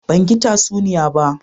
Ban gi tsasuniyan ba